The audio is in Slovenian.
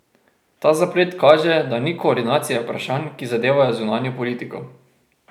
Ta zaplet kaže, da ni koordinacije vprašanj, ki zadevajo zunanjo politko.